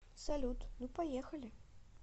салют ну поехали